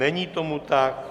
Není tomu tak.